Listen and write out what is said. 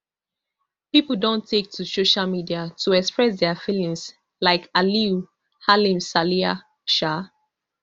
pipo don take to social media to express dia feelings like aliyu halimsaliyah um